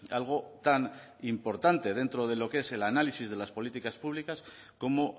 algo tan importante dentro de lo que es el análisis de las políticas públicas como